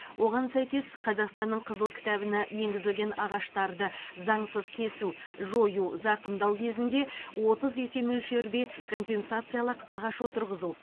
оған сәйкес қазақстанның қызыл кітабына енгізілген ағаштарды заңсыз кесу жою зақымдау кезінде отыз есе мөлшерде компенсациялық ағаш отырғызу